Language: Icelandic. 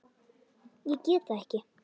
Ég get það ekki